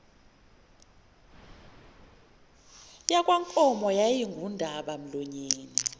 yakwankomo yayingundaba mlonyeni